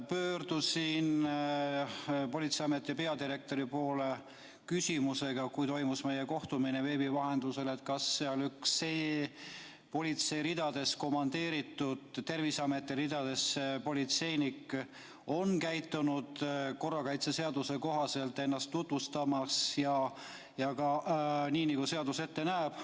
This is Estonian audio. Pöördusin politseiameti peadirektori poole küsimusega , kas üks politsei ridadest Terviseameti ridadesse komandeeritud politseinik käitus korrakaitseseaduse kohaselt, tutvustas ennast, nii nagu seadus ette näeb.